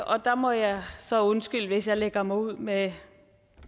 og der må jeg så undskylde hvis jeg lægger mig ud med